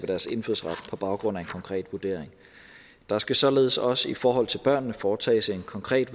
deres indfødsret på baggrund af en konkret vurdering der skal således også i forhold til børnene foretages en konkret